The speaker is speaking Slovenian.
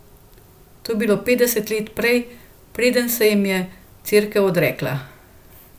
To je bilo petdeset let prej, preden se jim je Cerkev odrekla.